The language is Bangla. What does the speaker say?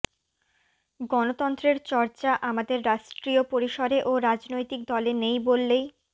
গণতন্ত্রের চর্চা আমাদের রাষ্ট্রীয় পরিসরে ও রাজনৈতিক দলে নেই বললেই